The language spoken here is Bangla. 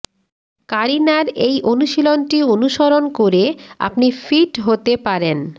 কারিনার এই অনুশীলনটি অনুসরণ করে আপনি ফিট হতে পারেন